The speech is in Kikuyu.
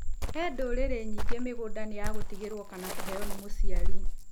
He ndũrĩrĩ nyingĩ mĩgũnda nĩ ya gũtigĩrwo kana kũheo nĩ mũciari.